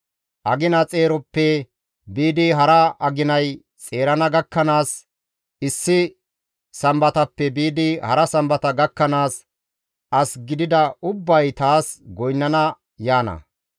Agina xeeroppe biidi hara aginay xeerana gakkanaas, issi Sambatappe biidi hara Sambata gakkanaas, as gidida ubbay taas goynnana yaana.